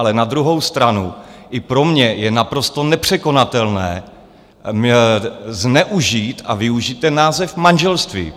Ale na druhou stranu i pro mě je naprosto nepřekonatelné zneužít a využít ten název manželství.